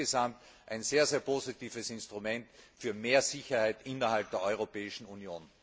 Insgesamt ein sehr, sehr positives Instrument für mehr Sicherheit innerhalb der Europäischen Union!